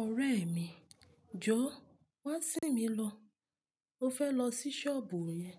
Ọ̀rẹ́ mi, jọ wá sí n mi lọ. Mo fẹ́ lọ sí sọ́ọ̀bù yẹn.